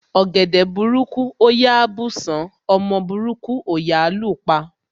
Ọ̀gẹ̀dẹ̀ burúkú ò yá bùsán, ọmọ burúkú ò yá lú pa.